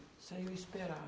Saiu a esperar.